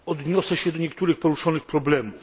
Odniosę się do niektórych poruszonych problemów.